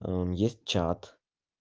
есть чат